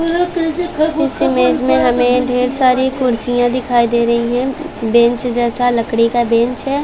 इस इमेज में हमें ढ़ेर सारी कुर्सियाँ दिखाई दे रही है बेंच जैसा लकड़ी का बेंच है।